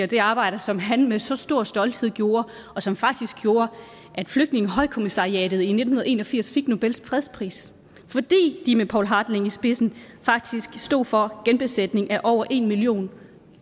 det arbejde som han med så stor stolthed gjorde og som faktisk gjorde at flygtningehøjkommissariatet i nitten en og firs fik nobels fredspris fordi de med poul hartling i spidsen faktisk stod for genbosætning af over en million